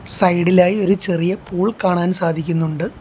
Side ഇലായി ഒരു ചെറിയ പൂൾ കാണാൻ സാധിക്കുന്നുണ്ട്.